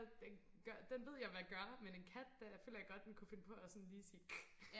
den gør den ved jeg hvad gør men en kat der føler jeg godt den kunne finde på at sådan lige sige hvæs